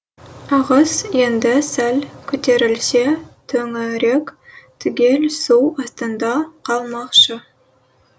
ағыс енді сәл көтерілсе төңірек түгел су астында қалмақшы